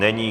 Není.